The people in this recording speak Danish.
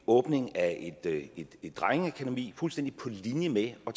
åbningen af et drengeakademi fuldstændig på linje med at